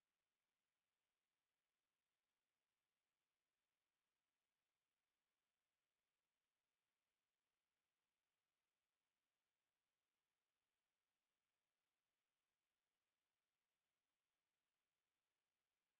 to